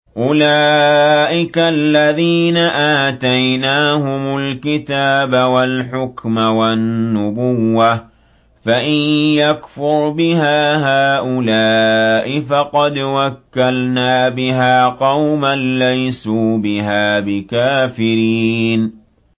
أُولَٰئِكَ الَّذِينَ آتَيْنَاهُمُ الْكِتَابَ وَالْحُكْمَ وَالنُّبُوَّةَ ۚ فَإِن يَكْفُرْ بِهَا هَٰؤُلَاءِ فَقَدْ وَكَّلْنَا بِهَا قَوْمًا لَّيْسُوا بِهَا بِكَافِرِينَ